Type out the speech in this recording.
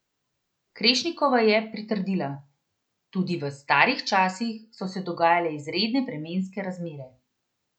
Krešnikova ji je pritrdila: "Tudi v 'starih časih' so se dogajale izredne vremenske razmere.